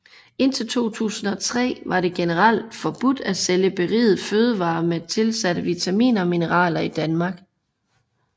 Indtil 2003 var det generelt forbudt at sælge berigede fødevarer med tilsatte vitaminer og mineraler i Danmark